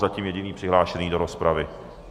Zatím jediný přihlášený do rozpravy.